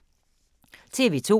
TV 2